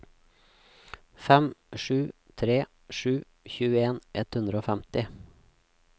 fem sju tre sju tjueen ett hundre og femti